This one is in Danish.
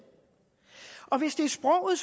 og hvis det er sproget